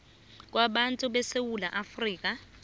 kwabantu besewula afrika